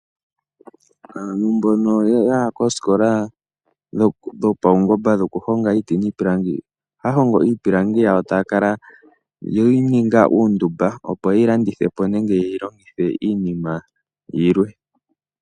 Aantu mbono yaya koosikola dho paungomba dhoku honga iiti niipilangi, ohaya hongo iipilangi yawo etaakala yeyi ninga uundumba opo, yeyilandithepo nenge yeyi ninge iinima yimwe.